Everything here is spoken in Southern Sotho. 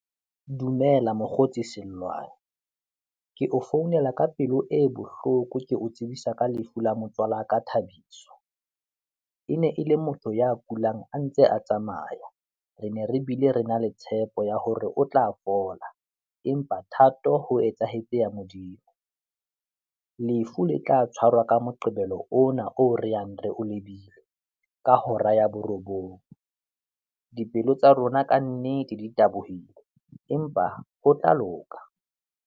Dumela mokgotsi Sellwane, ke o founela ka pelo e bohloko ke o tsebisa ka lefu la motswala wa ka Thabiso. E ne e le motho ya kulang a ntse a tsamaya, re ne re bile re na le tshepo ya hore o tla fola empa thato ho etsahetse ya Modimo. Lefu le tla tshwarwa ka Moqebelo ona oo re yang re o lebile ka hora ya borobong. Dipelo tsa rona kannete di tabohile, empa ho tla loka.